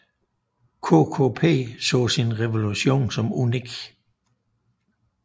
KKP så sin revolution som unik